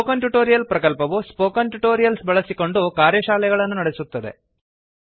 spoken tutorial ಪ್ರಕಲ್ಪವು spoken tutorials ಬಳಸಿಕೊಂಡು ಕಾರ್ಯಶಾಲೆಗಳನ್ನು ನಡೆಸುತ್ತದೆ